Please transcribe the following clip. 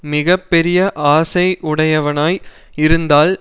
மிக பெரிய ஆசை உடையவனாய் இருந்தால்